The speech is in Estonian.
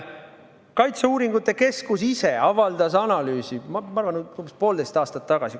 Kaitseuuringute Keskus ise avaldas analüüsi, ma arvan, umbes poolteist aastat tagasi.